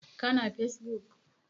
Ka na fesbuk?